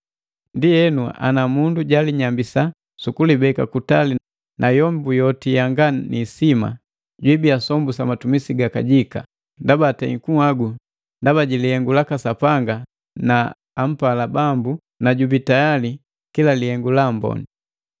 Ndienu, ana mundu jalinyambisa sukulibeka kutali na yombu yoti yanga ni isima, jibiya sombu sa matumisi ga kajika, ndaba atei kunhagu ndaba ji lihengu laka Sapanga na ampala Bambu na jubii tayali kila lihengu la amboni.